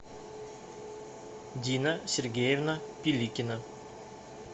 дина сергеевна пиликина